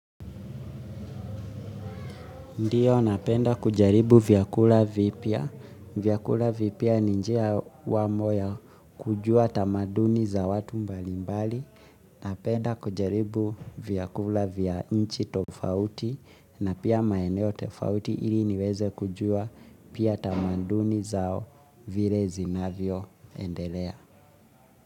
Ndiyo, napenda kujaribu vyakula vipia. Vyakula vipia ni njia wamo ya kujua tamaduni za watu mbalimbali. Napenda kujaribu vyakula vya nchi tofauti na pia maeneo tafauti ili niweze kujua pia tamaduni zao vire zinavyio endelea.